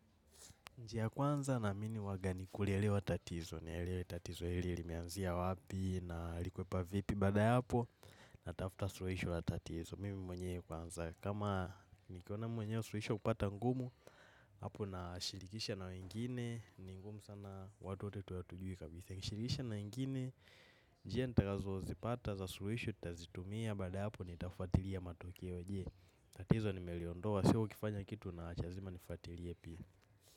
Njia kwanza na mini waga ni kulielewa tatizo, ni elewe tatizo hili limeanzia wapi na likwepa vipi bada yapo na tafuta suluhisho la tatizo. Mimi mwenyewe kwanza, kama nikiona mwenye suluhisho kupata ngumu, hapo na shirikisha na wengine, ni ngumu sana watu wote tuwe hatujui kabisa. Nishirikisha na ngine, njia nitakazo zipata za suluhisho, nitazitumia baada ya hapo ni tafatiria matokeo, je tatizo ni meliondoa, siyo kifanya kitu na achazima nifatilie pia.